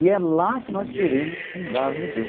E é lá que nós queremos fundar o museu.